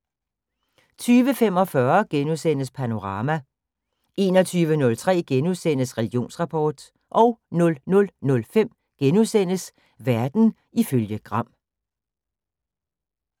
20:45: Panorama * 21:03: Religionsrapport * 00:05: Verden ifølge Gram *